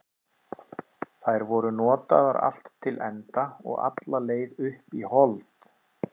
Þær voru notaðar allt til enda og alla leið upp í hold.